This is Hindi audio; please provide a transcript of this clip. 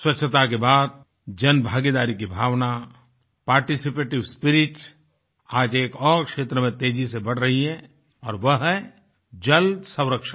स्वच्छता के बाद जनभागीदारी की भावनाparticipative spiritआज एक और क्षेत्र में तेजी से बढ़ रही है और वह है जल संरक्षण